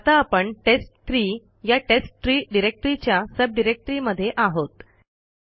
आता आपणtest3 या टेस्टट्री डिरेक्टरीच्या सब डिरेक्टरीमध्ये आहोत